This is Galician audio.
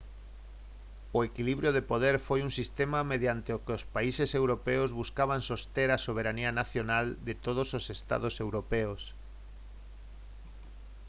o equilibrio de poder foi un sistema mediante o que os países europeos buscaban soster a soberanía nacional de todos os estados europeos